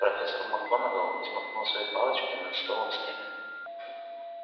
профессор макгонагалл взмахнула своей палочкой над столом снегга